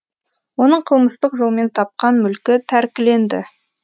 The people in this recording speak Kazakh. оның қылмыстық жолмен тапқан мүлкі тәркіленді